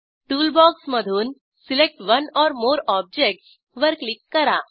टूलबॉक्समधून select one or more objects वर click करा